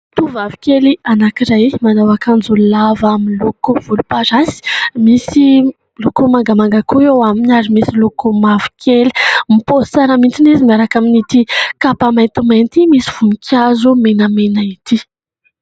Tovovavikely anankiray manao akanjo lava miloko volomparasy, misy loko mangamanga koa eo aminy ary misy loko mavokely; mipaozy tsara mihitsy izy miaraka amin' ity kapa maintimainty misy voninkazo menamena ity.